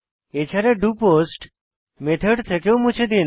এছাড়া do post method থেকেও মুছে দিন